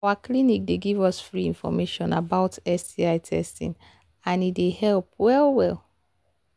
our clinic they give us free information about sti testing and he they help well well